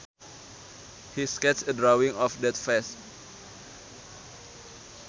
He sketched a drawing of that vase